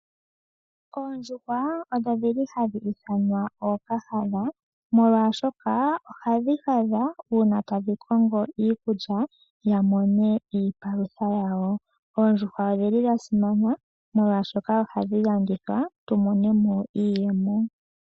Oondjuhwa odho dhili hadhi ithanwa ookahadha omolwashoka ohadhi hadha uuna tadhi kongo iikulya dhi mone iipalutha yawo. Oondjuhwa odhi li dha simana omolwashoka ohadhi landithwa tu monemo iiyemo.